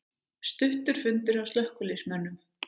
Stuttur fundur hjá slökkviliðsmönnum